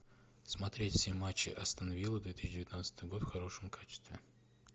смотреть все матчи астон виллы две тысячи девятнадцатый год в хорошем качестве